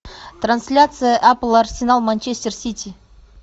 трансляция апл арсенал манчестер сити